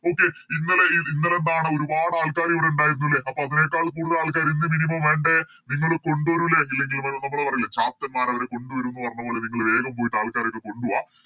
Okay ഇന്നലെ ഇന്നലെ എന്താണ് ഒരുപാടാൾക്കാര് ഇവിടെ ഇണ്ടായിരുന്നു ലെ അപ്പൊ അതിനേക്കാൾ കൂടുതൽ ആൾക്കാര് ഇന്ന് Minimum വേണ്ടേ നിങ്ങള് കൊണ്ട് വരൂലേ ഇല്ലെങ്കില് വേ നമ്മള് പറയൂല ചത്തന്മാരവരെ കൊണ്ടുവരും ന്ന് പറഞ്ഞപോലെ നിങ്ങള് വേഗം പോയിട്ട് ആൾക്കാരെയൊക്കെ കൊണ്ട് വാ